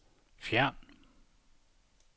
fjern